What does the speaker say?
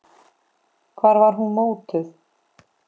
Hvar var hún mótuð?